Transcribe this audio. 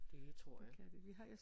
Det tror jeg